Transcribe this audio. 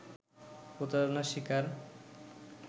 প্রতারণার শিকার